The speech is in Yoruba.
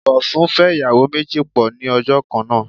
Bọ̀sún fẹ́ ìyàwó méjì pọ̀ ní ọjọ́ kan náà.